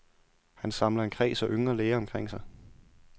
Han samler en kreds af yngre læger omkring sig.